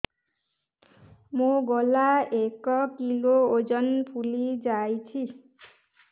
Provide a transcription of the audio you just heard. ମୋ ଗଳା ଏକ କିଲୋ ଓଜନ ଫୁଲି ଯାଉଛି